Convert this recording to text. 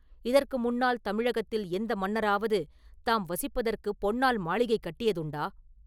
இதற்கு முன்னால் தமிழகத்தில் எந்த மன்னராவது தாம் வசிப்பதற்குப் பொன்னால் மாளிகை கட்டியதுண்டா?